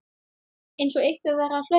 Einsog einhver væri að hlaupa